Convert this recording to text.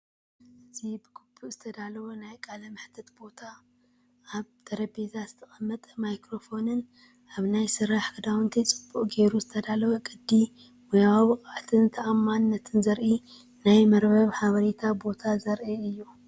እዚ ብግቡእ ዝተዳለወ ናይ ቃለ መሕትት ቦታ፡ ኣብ ጠረጴዛ ዝተቐመጠ ማይክሮፎንን ኣብ ናይ ስራሕ ክዳውንቲ ጽቡቕ ጌሩ ዝተዳለወ ቅዲ። ሞያዊ ብቕዓትን ተኣማንነትን ዘርኢ ናይ መርበብ ሓበሬታ ቦታ ዘርኢ እዩ።